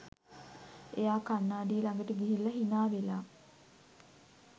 එයා කණ්ණාඩිය ළඟට ගිහිල්ල හිනාවෙලා